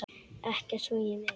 Ekkert svo ég muni.